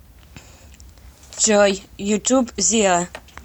джой ютуб зиа